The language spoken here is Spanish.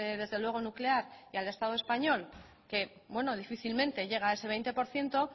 desde luego nuclear y al estado español que difícilmente llega a esa veinte por ciento